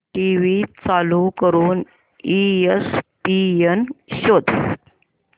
TV चालू करून ESPN शोध